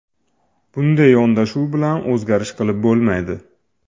Bunday yondashuv bilan o‘zgarish qilib bo‘lmaydi.